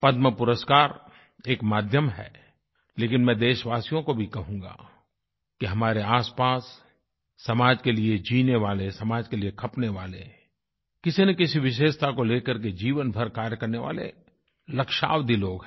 पद्मपुरस्कार एक माध्यम है लेकिन मैं देशवासियों को भी कहूँगा कि हमारे आसपास समाज के लिए जीने वाले समाज के लिए खपने वाले किसी न किसी विशेषता को ले करके जीवन भर कार्य करने वाले लक्षावधि लोग हैं